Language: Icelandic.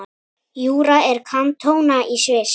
Júra er kantóna í Sviss.